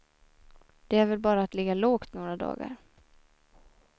Det är väl bara att ligga lågt några dagar.